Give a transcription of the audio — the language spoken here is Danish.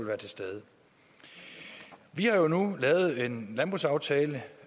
være til stede vi har nu lavet en landbrugsaftale